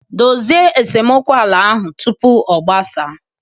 Dozie esemokwu ala ahụ tupu ọ gbasaa